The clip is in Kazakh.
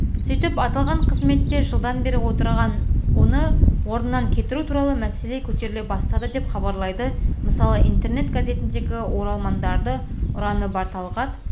сөйтіп аталған қызметте жылдан бері отырған оны орнынан кетіру туралы мәселе көтеріле бастады деп хабарлайды мысалы интернет-газетіндегі оралмандарды ұрғаны бар талғат